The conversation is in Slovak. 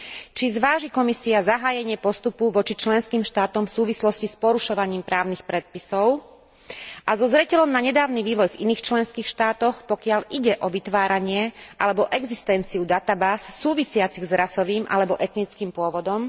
Či zváži Komisia zahájenie postupu voči členským štátom v súvislosti s porušovaním právnych predpisov a so zreteľom na nedávny vývoj v iných členských štátoch, pokiaľ ide o vytváranie alebo existenciu databáz súvisiacich s rasovým alebo etnickým pôvodom?